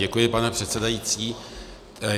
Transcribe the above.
Děkuji, pane předsedající.